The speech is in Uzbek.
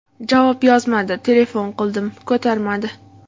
Javob yozmadi, telefon qildim, ko‘tarmadi.